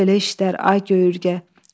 Belə-belə işlər, ay göy ürgə.